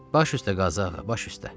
Baş üstə Qazağa, baş üstə.